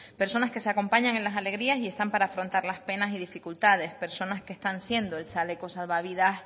personas que se acompañan en las alegrías y están para afrontar las penas y dificultades personas que están siendo el chaleco salvavidas